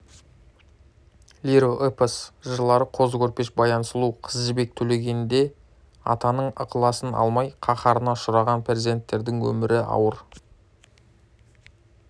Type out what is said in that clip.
лиро-эпос жырлары қозы көрпеш-баян сұлу қыз жібек-төлегенде атаның ықыласын алмай қаһарына ұшыраған перзенттердің өмірі ауыр